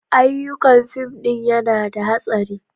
Ayyukan fim ɗin yana da hastari.